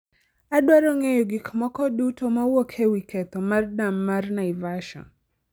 Adwaro ng'eyo gik moko duto mawuok ewi ketho mar dam mar Naivasha